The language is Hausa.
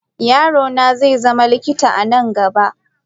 Yaro na zai zama likita a nan gaba.